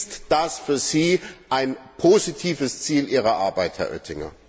Ist das für Sie ein positives Ziel Ihrer Arbeit, Herr Oettinger?